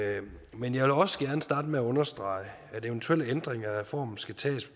men jeg vil også gerne starte med at understrege at eventuelle ændringer af reformen skal tages